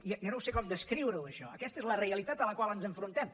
ja no sé com descriure ho això aquesta és la realitat a la qual ens enfrontem